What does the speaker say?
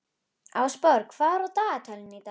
En hann minntist aldrei á að hann hefði pantað konu.